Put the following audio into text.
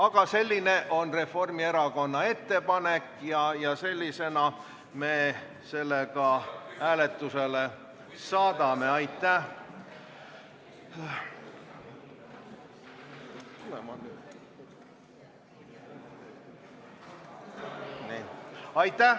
Aga selline on Reformierakonna ettepanek ja sellisena me selle ka hääletusele saadame.